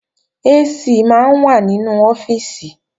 AC máa ń wà nínú ọ́fíìsì